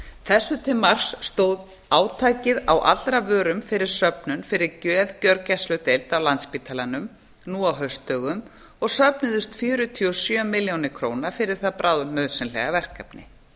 þessu til marks stóð átakið á allra vörum fyrir söfnun fyrir geðgjörgæsludeild á landspítalanum nú á haustdögum og söfnuðust fjörutíu og sjö milljónir króna fyrir það bráðnauðsynlega verkefni